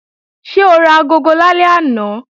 Ṣé o ra agogo lálẹ́ àná?